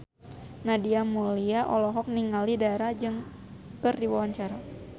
Nadia Mulya olohok ningali Dara keur diwawancara